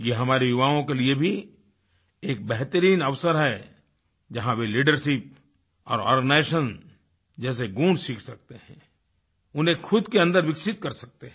यह हमारे युवाओं के लिए भी एक बेहतरीन अवसर है जहाँ वे लीडरशिप और आर्गेनाइजेशन जैसे गुण सीख सकते हैं उन्हें खुद के अन्दर विकसित कर सकते हैं